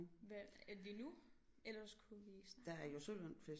Hvad ja lige nu ellers kunne vi snakke om